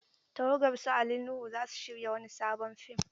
Tawagar su Ali Nuhu za su shirya wani sabon fim.